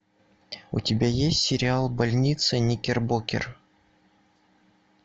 у тебя есть сериал больница никербокер